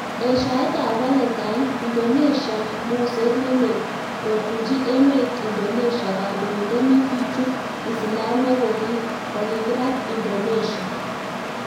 Eshaet ab 'Valentine', Indonesia moseet ne lel kotunji emet Indonesia Kandoindet ne kichup Islamiyek kokikirat Indonesia.